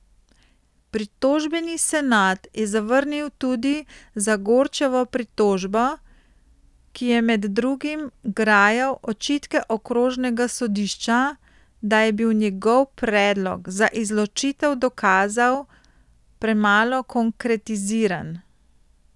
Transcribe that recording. Pritožbeni senat je zavrnil tudi Zagorčevo pritožbo, ki je med drugim grajal očitke okrožnega sodišča, da je bil njegov predlog za izločitev dokazov premalo konkretiziran.